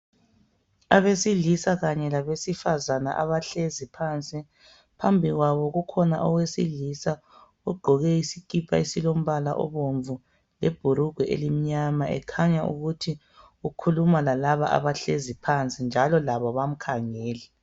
Abesilisa kanye labesifazane abahlezi phansi, phambi kwabo kukhona owesilisa ogqoke isikipa esilombala obomvu, lebhurugwe elimnyama ekhanya ukuthi ukhuluma lalaba abahlezi phansi njalo labo bamkhangele.